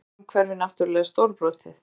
Og svo er umhverfið náttúrlega stórbrotið